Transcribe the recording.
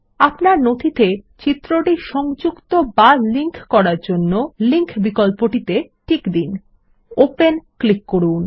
আপনার নথিতে চিত্রটি লিঙ্ক বা সংযুক্ত করার জন্য লিঙ্ক বিকল্পতে টিক দিন এবং ওপেন ক্লিক করুন